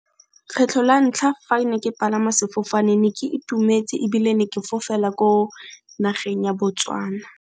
Kgetlho la ntlha fa ke ne ke palama sefofane ne ke itumetse ebile ne ke fofela ko nageng ya Botswana.